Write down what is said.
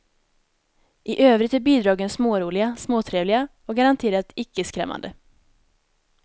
I övrigt är bidragen småroliga, småtrevliga och garanterat ickeskrämmande.